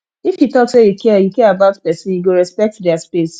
if you talk say you care you care about pesinn you go respect their space